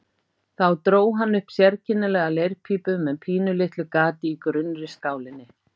Þá dró hann upp sérkennilega leirpípu með pínulitlu gati í grunnri skálinni.